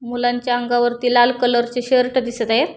मुलांच्या अंगवरती लाल कलर चे शर्ट दिसत आहेत.